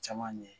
Caman ɲɛ